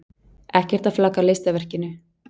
Ekkert að flagga listaverkinu.